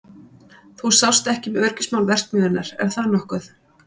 Þú sást ekki um öryggismál verksmiðjunnar, er það nokkuð?